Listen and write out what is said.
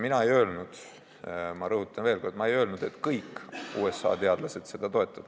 Mina ei öelnud – ma rõhutan veel kord, ma ei öelnud –, et kõik USA teadlased seda toetavad.